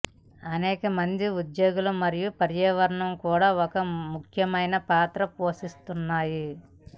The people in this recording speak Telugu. అనేక మంది ఉద్యోగులు మరియు పర్యావరణం కూడా ఒక ముఖ్యమైన పాత్ర పోషిస్తున్నాయి